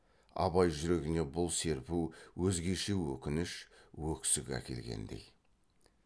абай жүрегіне бұл серпу өзгеше өкініш өксік әкелгендей